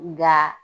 Nga